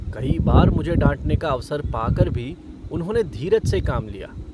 कई बार मुझे डाँटने का अवसर पाकर भी उन्होंने धीरज से काम लिया।